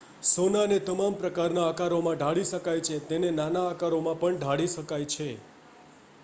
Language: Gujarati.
સોનાને તમામ પ્રકારના આકારોમાં ઢાળી શકાય છે તેને નાના આકારોમાં પણ ઢાળી શકાય છે